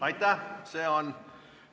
Aitäh!